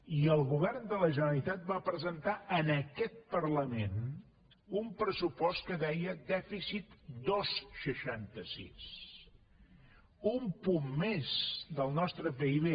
i el govern de la generalitat va presentar en aquest parlament un pressupost que deia dèficit dos coma seixanta sis un punt més del nostre pib